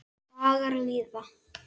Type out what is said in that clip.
Dagar líða.